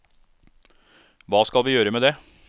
Hva skal vi gjøre med det?